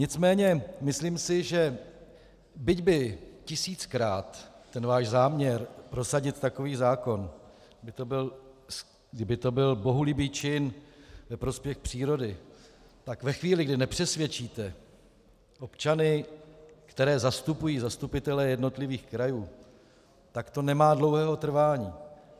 Nicméně myslím si, že byť by tisíckrát ten váš záměr prosadit takový zákon, kdyby to byl bohulibý čin ve prospěch přírody, tak ve chvíli, kdy nepřesvědčíte občany, které zastupují zastupitelé jednotlivých krajů, tak to nemá dlouhého trvání.